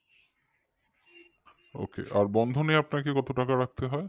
ok আর bandhan এ আপনাকে কত টাকা রাখতে হয়